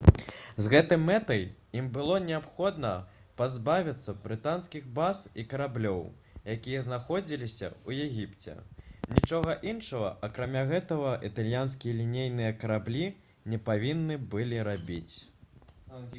з гэтай мэтай ім было неабходна пазбавіцца брытанскіх баз і караблёў якія знаходзіліся ў егіпце нічога іншага акрамя гэтага італьянскія лінейныя караблі не павінны былі рабіць